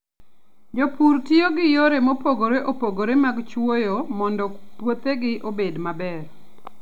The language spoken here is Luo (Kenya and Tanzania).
Jopur tiyo gi yore mopogore opogore mag chwoyo mondo puothegi obed maber.